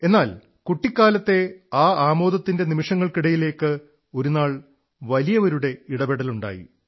എന്നാൽ കുട്ടിക്കാലത്തെ ആ ആമോദത്തിന്റെ നിമിഷങ്ങൾക്കിടയിലേക്ക് ഒരുനാൾ വലിയവരുടെ ഇടപെടലുണ്ടായി